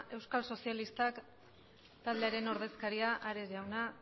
euskal sozialistak taldearen ordezkaria ares jauna